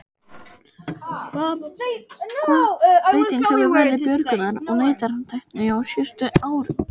Hvaða breyting hefur verið björgunar- og leitartækni á síðustu árum?